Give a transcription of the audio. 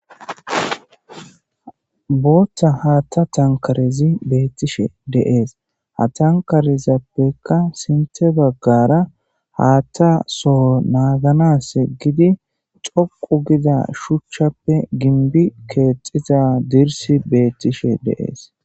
Bootha haaththa tankarezi beetishe de'es; ha tankarezappeka sinththe bagaara haaththa soho naaganas giidi xoqqu giza shuchchape gimbbi keexida dirssi beetishe de'es.